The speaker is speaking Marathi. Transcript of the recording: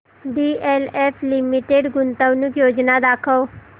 डीएलएफ लिमिटेड गुंतवणूक योजना दाखव